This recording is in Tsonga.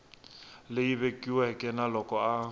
leyi vekiweke na loko a